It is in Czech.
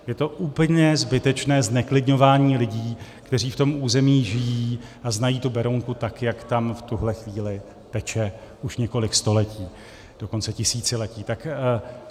Je to úplně zbytečné zneklidňování lidí, kteří v tom území žijí a znají tu Berounku tak, jak tam v tuhle chvíli teče už několik století, dokonce tisíciletí.